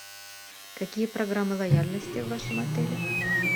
какие программы лояльности в вашем отеле